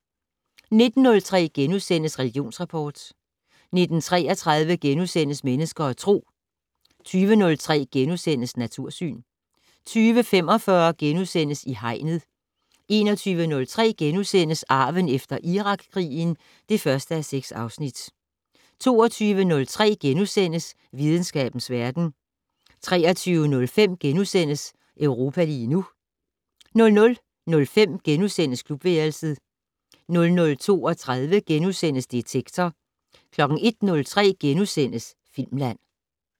19:03: Religionsrapport * 19:33: Mennesker og Tro * 20:03: Natursyn * 20:45: I Hegnet * 21:03: Arven efter Irakkrigen (1:6)* 22:03: Videnskabens verden * 23:05: Europa lige nu * 00:05: Klubværelset * 00:32: Detektor * 01:03: Filmland *